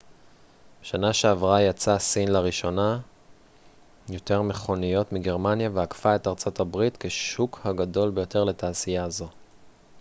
בשנה שעברה ייצאה סין לראשונה יותר מכוניות מגרמניה ועקפה את ארצות הברית כשוק הגדול ביותר לתעשייה זו